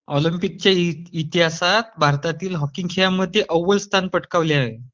ऑलम्पिकच्या इतिहासात भारतातील हॉकीय संघाने अव्वल स्थान पटकावले आहे